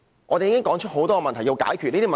我們已指出多個需要解決的問題。